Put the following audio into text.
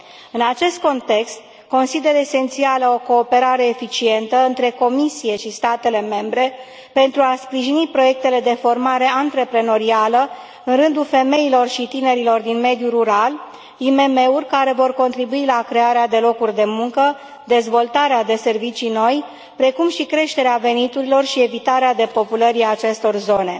În acest context, consider esențială o cooperare eficientă între Comisie și statele membre pentru a sprijini proiectele de formare antreprenorială în rândul femeilor și tinerilor din mediul rural, IMM uri care vor contribui la crearea de locuri de muncă, dezvoltarea de servicii noi, precum și creșterea veniturilor și evitarea depopulării acestor zone.